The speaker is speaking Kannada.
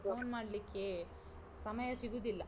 phone ಮಾಡ್ಲಿಕ್ಕೆ ಸಮಯ ಸಿಗುದಿಲ್ಲ.